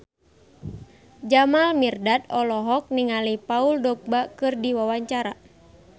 Jamal Mirdad olohok ningali Paul Dogba keur diwawancara